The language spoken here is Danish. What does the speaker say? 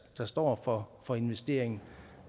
der står for for investeringen